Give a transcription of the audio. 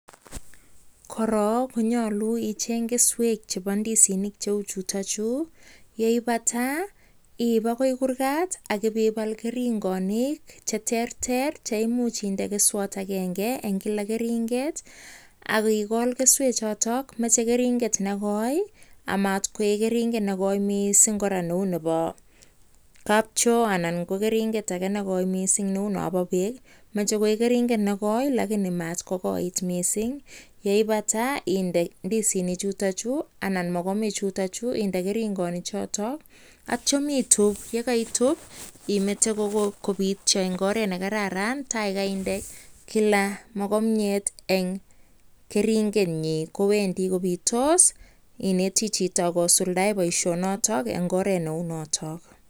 Korok konyalu icheny keswek chebo ndisinik cheu chutochu yeibata iib agoi kurgat AK ibibal keringonik cheterter. AK inde keswat agenge eng Kila keringet AK ikol keswek chotok, machei keringet amatkoek keringet nekoi mising neu nebo kapchoo anan ko keringet age nekoi mising neu nebo no no beek. Machei koeknekoi lakini maat ko koit mising. yeibata inde ndisinik chutochu ana mokomikchu inde keringonik chotok aito it up. Yekaitub, imetete kobityo eng oret nekararan tai kainde kainde Kila mokomyet eng Kila keringet nyi kowendi kobitos. Ineti chito kosuldae boisho notok eng oret neu notok.